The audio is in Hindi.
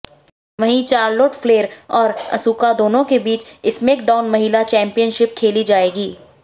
वहीं चार्लोटे फ्लेर और असुका दोनों के बीच स्मैकडाउन महिला चेंपियनशिप खेली जाएगी